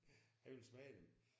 Han ville smage dem